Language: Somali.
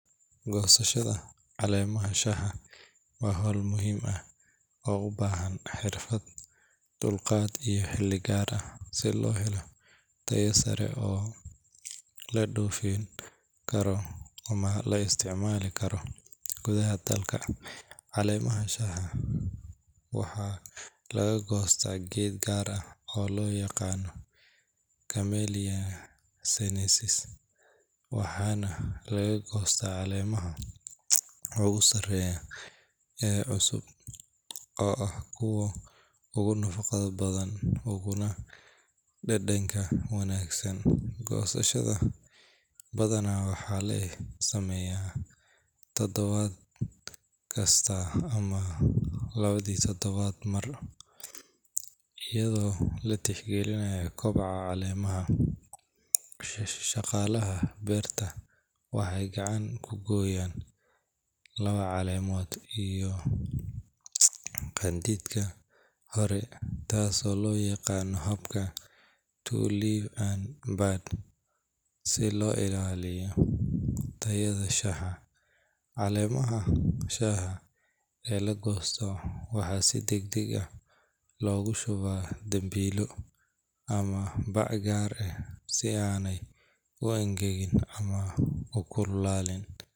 Goosashada caleemaha shaaha waa hawl muhiim ah oo u baahan xirfad, dulqaad iyo xilli gaar ah si loo helo tayo sare oo la dhoofin karo ama la isticmaali karo gudaha dalka. Caleemaha shaaha waxaa laga goostaa geed gaar ah oo loo yaqaanno Camellia sinensis, waxaana la goostaa caleemaha ugu sarreeya ee cusub oo ah kuwa ugu nafaqo badan uguna dhadhanka wanaagsan. Goosashada badanaa waxaa la sameeyaa todobaad kasta ama labadii toddobaadba mar, iyadoo la tixgelinayo koboca caleemaha. Shaqaalaha beerta waxay gacanta ku gooyaan laba caleemood iyo qanjidhka kore, taasoo loo yaqaan habka two leaves and a bud, si loo ilaaliyo tayada shaaha. Caleemaha shaaha ee la goosto waxaa si degdeg ah loogu shubaa dambiilo ama bac gaar ah si aanay u engegin ama u kululaan.